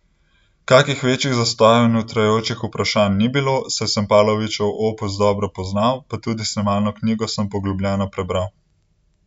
Kakih večjih zastojev in utrujajočih vprašanj ni bilo, saj sem Pavlovićev opus dobro poznal, pa tudi snemalno knjigo sem poglobljeno prebral.